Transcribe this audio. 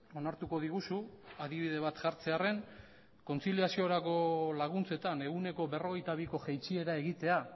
onartuko diguzu adibide bat jartzearren kontziliaziorako laguntzetan ehuneko berrogeita biko jaitsiera egitea